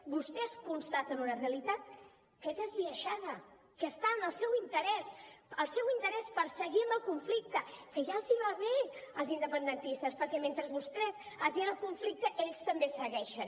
vostès constaten una realitat que és esbiaixada que està en el seu interès el seu interès per seguir amb el conflicte que ja els va bé als independentistes perquè mentre vostès atien el conflicte ells també segueixen